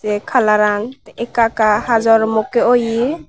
aye kalaran ekka ekka hajor mukke oye.